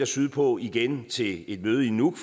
sydpå igen til et møde i nuuk